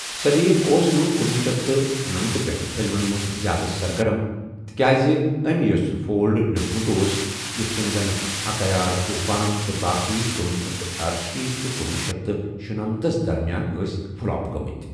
سلیم اوس نہٕ کُنۄہ شیتھ تہٕ شُنمتھس پٮ۪ٹھٕ فلمَن منٛز زِیٛادٕ سرگرم تِکیٛازِ أمۍ یُس فولڈ لیٚکھوٗمُت اوس، یِتھ کٔنۍ زَنہٕ عکایلا، طوفان تہٕ باقی کُنۄہ شیتھ تہٕ ارشیٖتھ تہٕ کُنۄہ شیتھ تہٕ شُنمتھ ہَس درمیان ٲس فلاپ گٔمٕتۍ۔